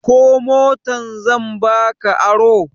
Ko motar zan ba ka aro?